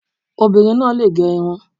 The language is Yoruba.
Obinrin náà lè gẹ irun.